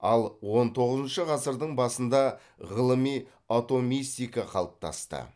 ал он тоғызыншы ғасырдың басында ғылыми атомистика қалыптасты